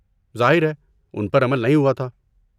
ظاہر ہے، ان پر عمل نہیں ہوا تھا۔